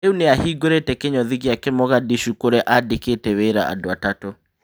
Rĩu nĩahingũrĩte kĩnyũthi gĩake Mogadishu kũrĩa andĩkĩte wĩra andũ atatũ.